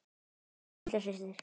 Elsku litla systir.